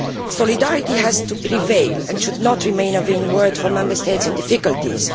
Solidarity has to prevail and should not remain a vain word for Member States in difficulties.